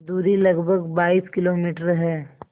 दूरी लगभग बाईस किलोमीटर है